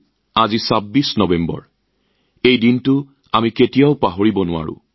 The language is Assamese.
আমি আমি এই ২৬ নৱেম্বৰৰ দিনটোৰ কথা পাহৰিব নোৱাৰো